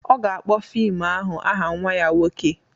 Ọ ga-akpọ fim ahụ aha nwa ya nwoke